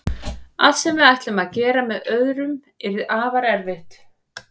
Allt sem við ætlum að gera með öðrum yrði afar erfitt.